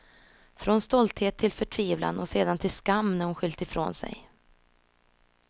Från stolthet till förtvivlan och sedan till skam när hon skyllt ifrån sig.